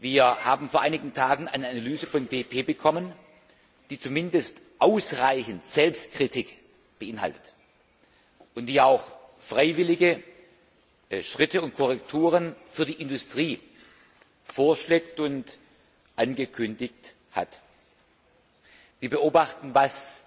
Wir haben vor einigen Tagen eine Analyse von BP bekommen, die zumindest ausreichend Selbstkritik beinhaltet und die auch freiwillige Schritte und Korrekturen für die Industrie vorschlägt und angekündigt hat. Wir beobachten, was